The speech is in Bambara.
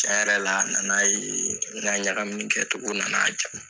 Tiɲɛ yɛrɛ la a na na ye n ka ɲagamini kɛcogo na na a ja.